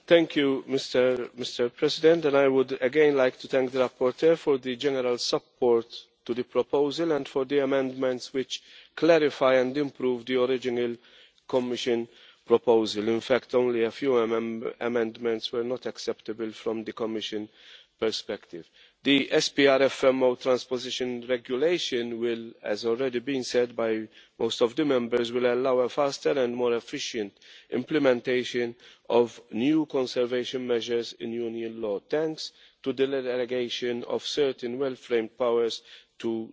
Mr President, I would again like to thank the rapporteur for the general support for the proposal and for the amendments, which clarify and improve the original Commission proposal. In fact, only a few amendments were not acceptable from the Commission perspective. The SPRFMO transposition regulation will, as has already been said by most of the Members, allow a faster and more efficient implementation of new conservation measures in Union law, thanks to the delegation of certain well framed powers to the Commission.